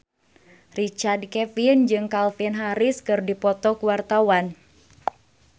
Richard Kevin jeung Calvin Harris keur dipoto ku wartawan